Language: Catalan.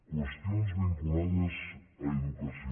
qüestions vinculades a educació